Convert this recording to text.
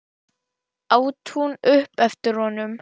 át hún upp eftir honum.